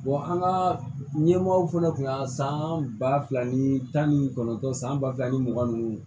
an ka ɲɛmɔgɔ fana kun y'a san ba fila ni tan ni kɔnɔntɔn san ba fila ni mugan nunnu